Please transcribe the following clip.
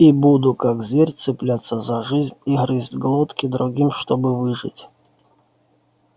и буду как зверь цепляться за жизнь и грызть глотки другим чтобы выжить